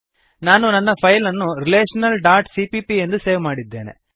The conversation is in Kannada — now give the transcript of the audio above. ನಾನು ನನ್ನ ಫೈಲ್ ಅನ್ನು ರಿಲೇಶನಲ್ ಡಾಟ್ ಸಿಪಿಪಿ ಎಂದು ಸೇವ್ ಮಾಡಿದ್ದೇನೆ